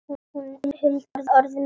Hún huldi örið með trefli.